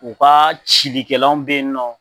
U ka cilikɛlanw bɛ yen nɔ